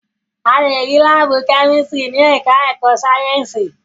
A lè rí láàbù kẹ́mísítírì ní ẹ̀ká ẹ̀kọ́ Sáyẹ̀nsì